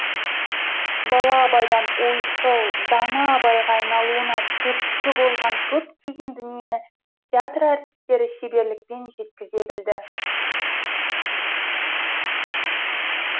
бала абайдан ойшыл дана абайға айналуына түрткі болған көптеген дүниені театр әртістері шеберлікпен жеткізе білді